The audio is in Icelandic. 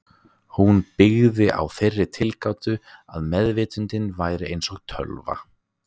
Hún byggði á þeirri tilgátu að meðvitundin væri eins og tölva.